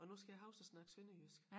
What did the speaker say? Og nu skal jeg huske at snakke sønderjysk